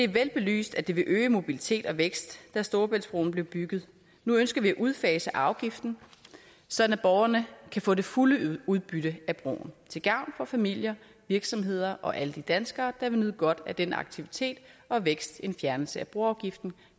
vel belyst at det ville øge mobilitet og vækst da storebæltsbroen blev bygget nu ønsker vi at udfase afgiften sådan at borgerne kan få det fulde udbytte af broen til gavn for familier virksomheder og alle de danskere der vil nyde godt af den aktivitet og vækst en fjernelse af broafgiften